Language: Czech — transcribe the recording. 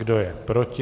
Kdo je proti?